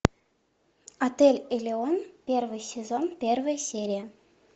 отель элеон первый сезон первая серия